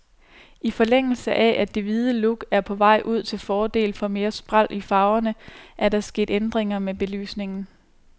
I forlængelse af, at det hvide look er på vej ud til fordel for mere spræl i farverne er der sket ændringer med belysningen.